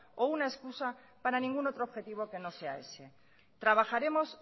o una excusa para ningún otro objetivo que no sea ese trabajaremos